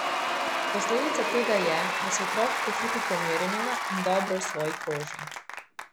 Posledica tega je, da se otrok počuti pomirjenega in dobro v svoji koži.